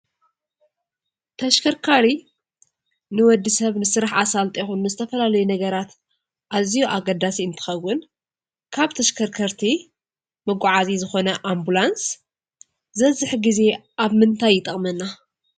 ተሽከርካሪ ንወዲሰብ ንስራሕ ኣሳልጦ ይኹን ንዝተፈላለዩ ነገራት ኣዝዩ ኣገዳሲ እንትኸውን ካብ ተሽከርከርቲ መጓዓዚ ዝኾነ ኣምቡላንስ ዝበዝሕ ግዜ ኣብ ምንታይ ይጠቕመና?